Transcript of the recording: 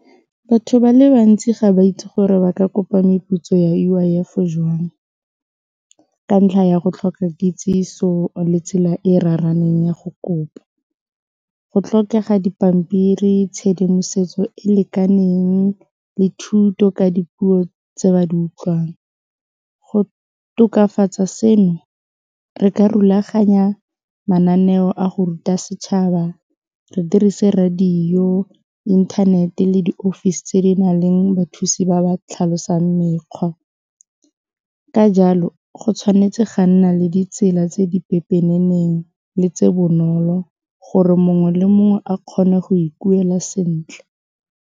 Batho ba le bantsi ga ba itse gore ba ka kopa meputso ya U_I_F jwang ka ntlha ya go tlhoka kitsiso le tsela e e raraneng ya go kopa, go tlhokega dipampiri, tshedimosetso e lekaneng le thuto ka dipuo tse ba di utlwang, go tokafatsa seno re ka rulaganya mananeo a go ruta setšhaba re dirise radio, inthanete le diofisi tse di na leng bathusi ba ba tlhalosang mekgwa ka jalo go tshwanetse ga nna le ditsela tse di pepeneneng le tse bonolo gore mongwe le mongwe a kgone go ikuela sentle.